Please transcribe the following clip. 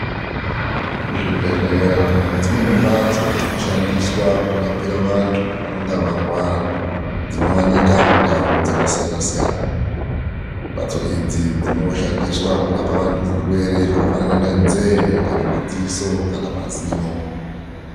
Zvibhehlera nedzimweni mbatso dzinoshandiswa kurapira vantu vanenge varwara dzinowanika mundau dzakasiyana siyana. Mbatso idzi dzinoshandiswa kurapa vantu zvirwere zvakafanana ngenzeye, kana maziso kana mazino.